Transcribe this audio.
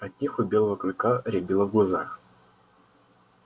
от них у белого клыка рябило в глазах